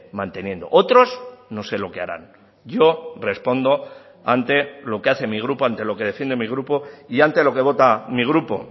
manteniendo otros no sé lo que harán yo respondo ante lo que hace mi grupo ante lo que defiende mi grupo y ante lo que vota mi grupo